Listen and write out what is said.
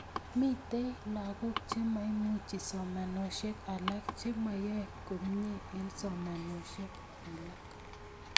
Mitei lagok chemaimuchi somanosiek alak, chemoyoei komie eng somanosiek alak